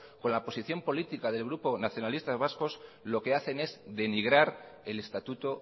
con la posición política del grupo nacionalistas vascos lo que hacen es denigrar el estatuto